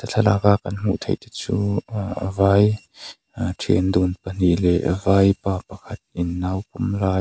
thlalak a kan hmuh theih te chu ah a vai ahh thian dun pahnih leh vaipa pakhat in nau pawm lai.